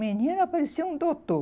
Menina, parecia um doutor.